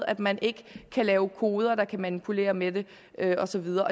at man ikke kan lave koder der kan manipulere med det og så videre